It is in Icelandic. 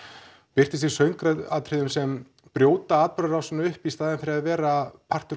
birtist í söngatriðum sem brjóta atburðarásina upp í staðinn fyrir að vera partur